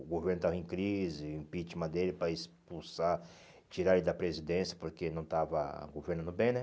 O governo estava em crise, impeachment dele para expulsar, tirar ele da presidência porque não estava governando bem, né?